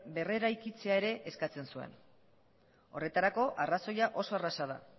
berreraikitzea ere eskatzen zuen horretarako arrazoia oso erraza da